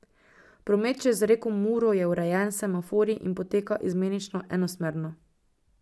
Promet čez reko Muro je urejen s semaforji in poteka izmenično enosmerno.